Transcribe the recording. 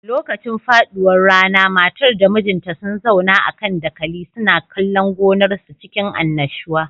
Lokacin faduwar rana matar da mijinta sun zauna a kan dakali suna kallon gonar su cikin annashuwa